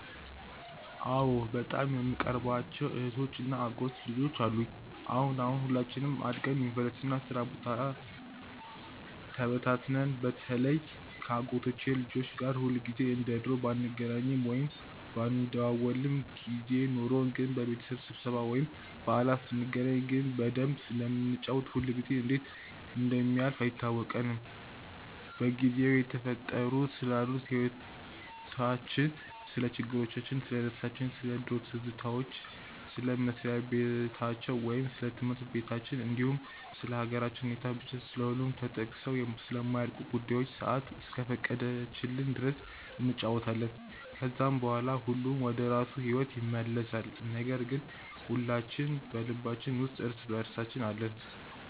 አዎ በጣም የምቀርባቸው እህቶች እና የአጎት ልጆች አሉኝ። አሁን አሁን ሁላችንም አድገን ዩኒቨርሲቲ እና የስራ ቦታ ተበታትነን በተለይ ከ አጎቶቼ ልጆች ጋር ሁልጊዜ እንደ ድሮ ባንገናኝም ወይም ባንደዋወልም ጊዜ ኖርን ግን በቤተሰብ ስብስብ ወይም በዓላት ስንገናኝ ግን በደንብ ስለምንጫወት ጊዜው ሁላ እንዴት እንደሚያልፍ አይታወቀንም። በጊዜው እየተፈጠሩ ስላሉት ህይወቲቻችን፣ ስለ ችግሮቻችን፣ ስለደስታችን፣ ስለ ድሮ ትዝታዎች፣ ስለ መስሪያ በታቸው ወይም ስለ ትምህርት በታችን እንዲሁም ስለ ሃገራችን ሁኔታ፤ ብቻ ስለሁሉም ተጠቅሰው ስለማያልቁ ጉዳዮች ሰአት እስከፈቀደችልን ድረስ እንጫወታለን። ከዛም በኋላ ሁሉም ወደራሱ ሂዎት ይመለሳል ነገር ግን ሁላችን በልባችን ውስጥ እርስ በእርሳችን አለን።